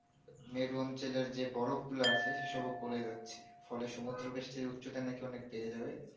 মেরু অঞ্চলের যে বরফ গুলা আছে সে সব গোলে যাচ্ছে ফলে সমুদ্র বেস্চের উচ্চতা নাকি অনেক বেড়ে যাবে